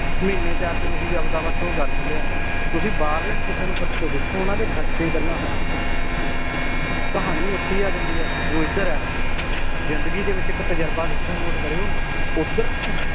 ਮਹੀਨੇ ਚ ਆ ਕੇ ਓਹੀ ਆਪ ਦਾ ਬੱਸ ਉਹ ਕਰ ਦਿੰਦੇ ਏ ਤੁਸੀ ਬਾਹਰਲਿਆਂ ਨੂੰ ਕਿਸੇ ਤੋਂ ਪੁੱਛ ਕੇ ਦੇਖੋ ਉਹਨਾਂ ਦੇ ਖਰਚੇ ਪਹਿਲਾਂ ਕਹਾਣੀ ਓਥੇ ਈ ਆਜਾਂਦੀ ਏ ਜੋ ਏਧਰ ਏ ਜਿੰਦਗੀ ਦੇ ਵਿਚ ਇਕ ਤਜਰਬਾ ਦੇਖਿਓ ਨੋਟ ਕਰਿਊ ਓਧਰ ਪੁ